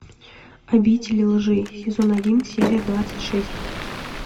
обитель лжи сезон один серия двадцать шесть